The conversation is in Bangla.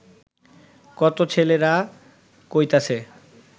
কত ছেলেরা কইতাছে